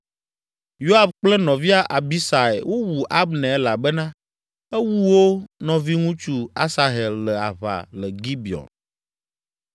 Yoab kple nɔvia Abisai wowu Abner elabena ewu wo nɔviŋutsu Asahel le aʋa le Gibeon.